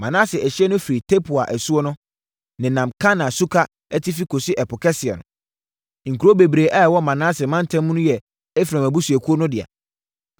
Manase ɛhyeɛ no firi Tapua asuo no, nenam Kana suka atifi kɔsi Ɛpo Kɛseɛ no. (Nkuro bebree a ɛwɔ Manase mantam mu no yɛ Efraim abusuakuo no dea.)